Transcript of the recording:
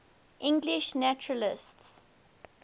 english naturalists